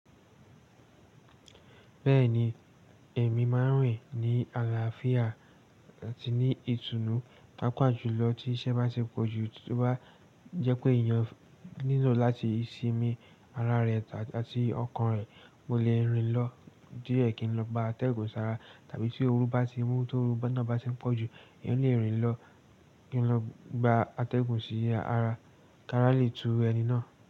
Bẹ́ẹ̀ni, ẹ̀mí máa ń rìn ní àlàáfíà àti ní ìtùnú. Pàápàá jùlọ tí iṣẹ́ bá ti pọ̀jù tóbá jẹ́ pé èèyàn nílò láti sinmi ara rẹ̀ àti ọkàn rẹ̀, mo lè rìn lọ díẹ̀ kí n lọ gba atẹ́gùn sára tàbí tí ooru bá ti mú tóru iná bá ti ń pọ̀jù, èèyàn lè rìn lọ kí n lọ gba atẹ́gùn sí ara, kí ara lè tú ẹni náà.